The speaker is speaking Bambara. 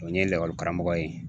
O ye lakɔlikaramɔgɔ ye